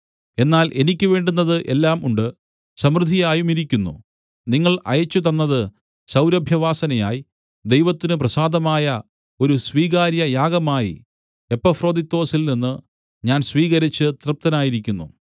എന്നാൽ എനിക്ക് വേണ്ടുന്നത് എല്ലാം ഉണ്ട് സമൃദ്ധിയായുമിരിക്കുന്നു നിങ്ങൾ അയച്ചുതന്നത് സൗരഭ്യവാസനയായി ദൈവത്തിന് പ്രസാദമായ ഒരു സ്വീകാര്യയാഗമായി എപ്പഫ്രൊദിത്തൊസിൽനിന്ന് ഞാൻ സ്വീകരിച്ച് തൃപ്തനായിരിക്കുന്നു